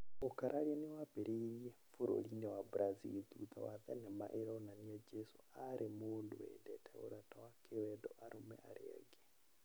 Ũkararia nĩ wambĩrĩirie bũrũri-inĩ wa Brazil thutha wa thenema ĩronania Jesu arĩ mũndũ wendete ũrata wa kĩwendo arũme arĩa angĩ.